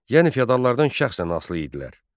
Yəni feodallardan şəxsən asılı idilər.